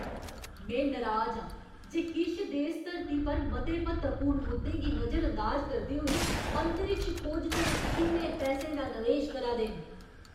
में नराज आं जे किश देस धरती पर मते म्हत्तवपूर्ण मुद्दें गी नजरअंदाज करदे होई अंतरिक्ष खोज च इन्ने पैसें दा नवेश करा दे न।